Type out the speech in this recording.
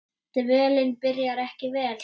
Dvölin byrjaði ekki vel.